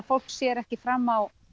fólk sér ekki fram á